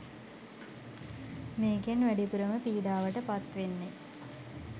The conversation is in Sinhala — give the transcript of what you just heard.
මේකෙන් වැඩිපුරම පීඩාවට පත් වෙන්නේ